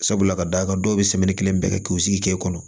Sabula ka d'a kan dɔw bɛ kelen bɛɛ kɛ k'u sigi kɛ o